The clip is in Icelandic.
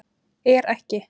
Er ekki